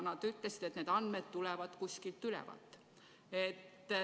Nad ütlesid, et need andmed tulevad kuskilt ülevalt.